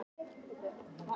Minnsta jólakort í heimi